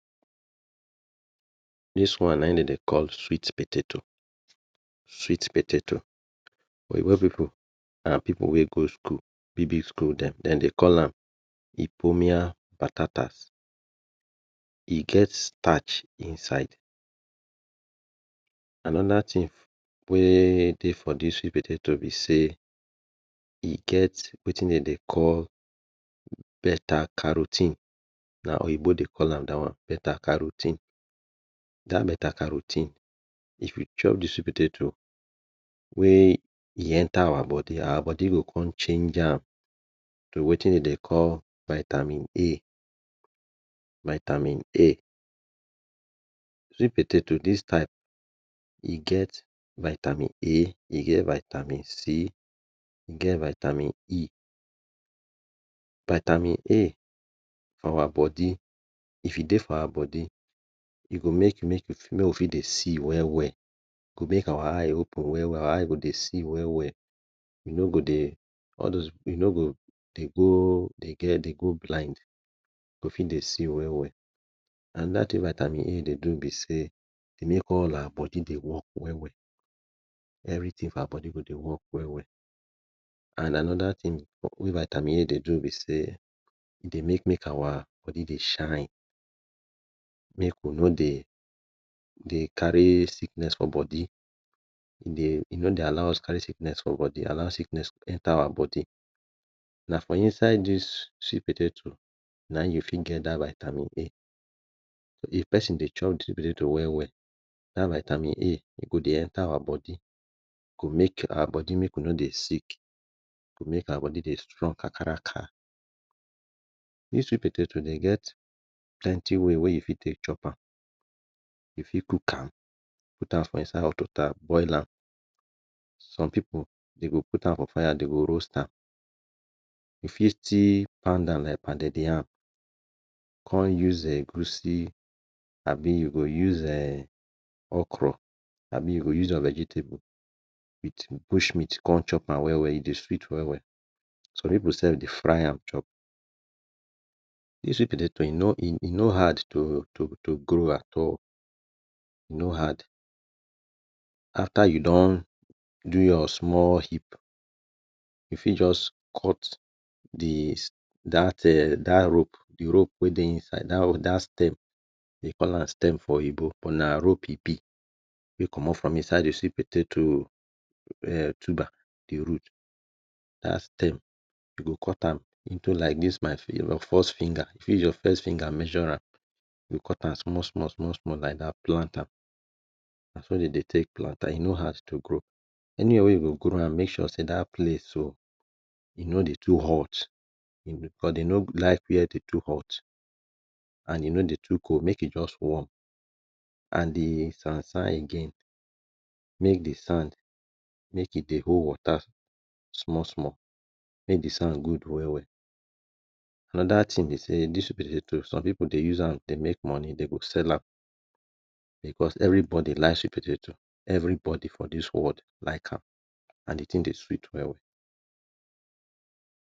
This one na him dem dey call sweet potato, sweet potato. Oyibo pipu and pipu wey go school, big big school dem, dem dey call am ippomiapatatas. E get starch inside. Another thing wey dey for this sweet potato be sey e get wetin dem dey call beta caro ten e. Na oyibo dey call am dat one beta caro ten e. That beta caro ten e if you chop the sweet potato wey e enter our body our body go come change am to wetin dey dey call vitamin A. Vitamin A. Sweet potato this type e get vitamin A, e get vitamin C, e get vitamin E. Vitamin A if e dey our body, e go make make we dey see well well. E go make our eyes open our eye go dey see well well. E no go dey, all those, e no go dey go dey get blind. E go fit dey see well well. Another thing vitamin A dey do be sey e dey make all our body dey work well well. everything for our body go dey work well well and another thing wey vitamin A dey do be sey e dey make make our body dey shine, make we no dey carry sickness for body, e no dey allow us dey carry sickness for our body, allow sickness enter our body. Na for inside this sweet potato, na im you fit get that vitamin A. If person dey chop dem sweet potato well well that vitamin A e go dey enter our body e go make our body make we no dey sick, e go make our body dey strong kakaraka. This sweet potato dem get plenty way wey wey you fit take chop am, you fit cook am put am for inside hot wata boil am. Some people dem go put out am for fire, de go roast am. You fit still pound am like pounded yam come use egusi abi you go use okra abi you go use your vegetable come use bush meat chop am well well. E dey sweet well well. Some pipu self dey fry am chop. You see sweet potato, e no hard to grow am at all. e no hard. After you don do your small heap, e fit just cut d eh that rope e rope wey dey inside that that stem dey call am stem for oyibo but na rope e be wey comot for inside you go see potato um tuber, de root that's stem. You go cut am into like this my first finger, e fit use your first finger measure am. You go cut am small small small small like that plant am. Na so dey dey take plant am, e no hard to grow. Anyhow we you go grow am make sure sey that place so e no dey too hot because e no like wey dey too hot and e no dey too cold, make e just warm. And de sand sand again make de sand make e dey hold wata small small .make de sand good well well. Another thing be sey this sweet potato some people dey use am dey make money. Dem dey sell am because everybody like sweet potato, everybody for this world like am and de thing dey sweet well well.